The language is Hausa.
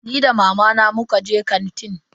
Ni da mamana muka je kantin.